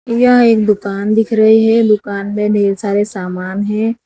यह इक दुकान दिख रही है दुकान में ढेर सारे सामान है।